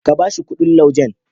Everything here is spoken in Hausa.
Ka ba shi ƙuɗin laujen.